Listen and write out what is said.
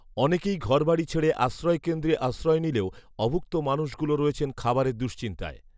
অনেকেই ঘরবাড়ী ছেড়ে আশ্রয় কেন্দ্রে আশ্রয় নিলেও অভুক্ত মানুষগুলো রয়েছেন খাবারের দুঃচিন্তায়